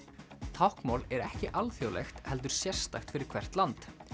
táknmál er ekki alþjóðlegt heldur sérstakt fyrir hvert land